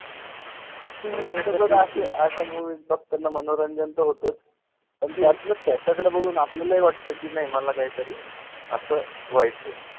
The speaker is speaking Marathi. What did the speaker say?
अशा movie बघताना मनोरंजन तर होतच पण त्याच्याकडे बघून आपल्यालाहि वाटत कि नाई मला काहीतरी असं व्हायचंय.